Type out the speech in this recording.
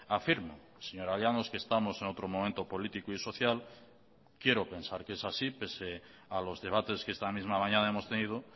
afirmo señora llanos que estamos en otro momento político y social quiero pensar que es así pese a los debates que esta misma mañana hemos tenido